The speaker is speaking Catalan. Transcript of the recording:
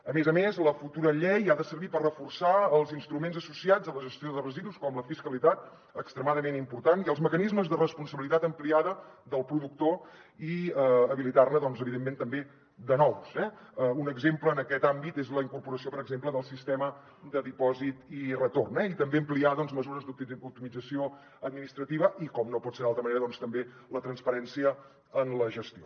a més a més la futura llei ha de servir per reforçar els instruments associats a la gestió de residus com la fiscalitat extremadament important i els mecanismes de responsabilitat ampliada del productor i habilitar ne doncs evidentment també de nous eh un exemple en aquest àmbit és la incorporació per exemple del sistema de dipòsit i retorn eh i també ampliar doncs mesures d’optimització administrativa i com no pot ser d’altra manera doncs també la transparència en la gestió